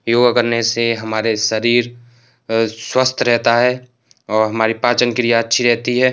योगा करने से हमारे शरीर अ स्वस्थ रहता है औ हमारी पाचन क्रिया अच्छी रहती है।